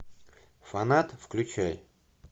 фанат включай